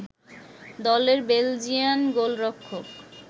দলের বেলজিয়ান গোলরক্ষক